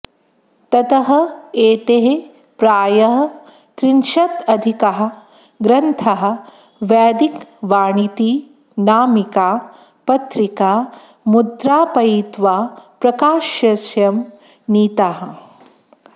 ततः एतैः प्रायः त्रिंशदधिकाः ग्रन्थाः वैदिकवाणीति नामिका पत्रिका मुद्रापयित्वा प्रकाश्यं नीताः